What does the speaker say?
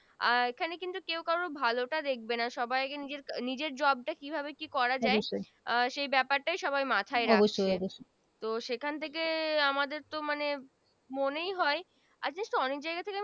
আর এখানে কিন্তু কেও কারো ভালো টা দেখবে না সবাই নিজ নিজের Job টা কি ভাবে কি করা যায় অবশ্যই আহ সে ব্যপারটা সবাই মাথায় রাখে অবশ্যই অবশ্যই তো সেখান থেকে আমাদের তো মানে মনেই হয় অনেক জায়গা থেকে